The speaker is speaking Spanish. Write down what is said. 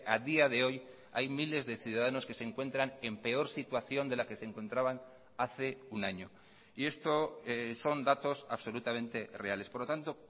a día de hoy hay miles de ciudadanos que se encuentran en peor situación de la que se encontraban hace un año y esto son datos absolutamente reales por lo tanto